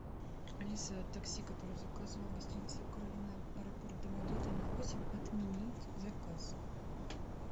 алиса такси которое я заказывала гостиница украина аэропорт домодедово на восемь отменить заказ